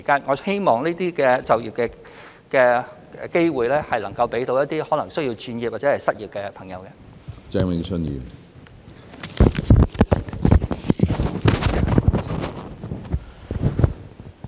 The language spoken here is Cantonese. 我希望這些就業機會能夠惠及可能需要轉業或失業的人士。